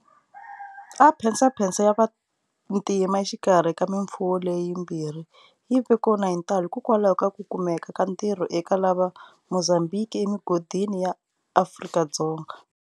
A mphesamphesa ya vantima exikarhi ka mimfumo leyi mbirhi yi ve kona hi ntalo hikwalaho ka ku kumeka ka ntirho eka lava Mozambhiki emigodini ya Afrika-Dzonga.